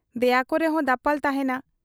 ᱫᱮᱭᱟᱠᱚ ᱨᱮᱦᱚᱸ ᱫᱟᱯᱟᱞ ᱛᱟᱦᱮᱸᱱᱟ